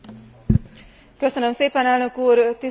Tisztelt Miniszter Asszony, Tisztelt Biztos Úr!